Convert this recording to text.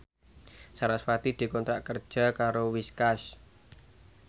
sarasvati dikontrak kerja karo Whiskas